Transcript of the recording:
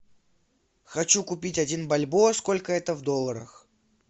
хочу купить один бальбоа сколько это в долларах